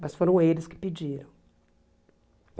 Mas foram eles que pediram.